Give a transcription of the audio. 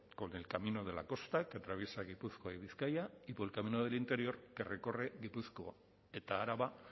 con el camino de la costa que atraviesa gipuzkoa y bizkaia y por el camino del interior que recorre gipuzkoa eta araba